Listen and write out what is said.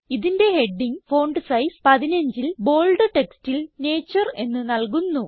ഇതിന്റെ heading font size 15ൽ bold ടെക്സ്റ്റിൽ നേച്ചർ എന്ന് നല്കുന്നു